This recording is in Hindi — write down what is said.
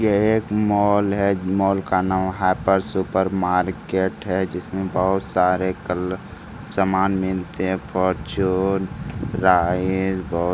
ये एक मॉल है मॉल का नाम हाइपर सुपर मार्केट है जिसमें बहुत सारे कल सामान मिलते हैं फार्च्यून राइस ग --